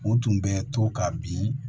U tun bɛ to ka bin